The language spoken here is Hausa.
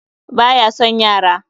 Ba ya son yara